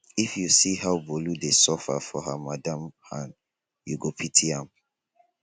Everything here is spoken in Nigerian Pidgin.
if you see how bolu dey suffer for her madam hand you go pity am